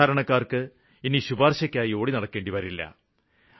സാധാരണക്കാര്ക്ക് ഇനി ശുപാര്ശയ്ക്കായി ഓടിനടക്കേണ്ടി വരില്ല